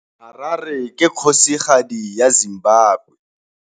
Harare ke kgosigadi ya Zimbabwe.